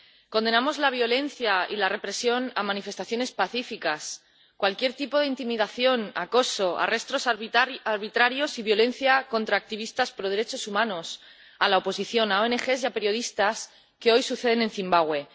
Condenamos la violencia y la represión de manifestaciones pacíficas, cualquier tipo de intimidación, acoso, arrestos arbitrarios y violencia contra activistas pro derechos humanos, la oposición, ONG y periodistas que hoy suceden en Zimbabue.